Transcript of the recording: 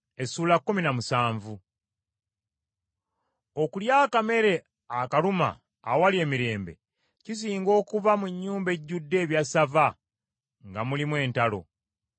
Okulya akamere akaluma awali emirembe, kisinga okuba mu nnyumba ejjudde ebyassava nga mulimu entalo.